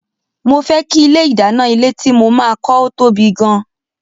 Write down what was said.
Mo fẹ́ kí ilé ìdáná ilé tí mo máa kọ́ ó tóbi gan-an